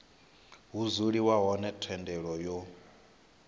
ha dzuliwa hone thendelo yo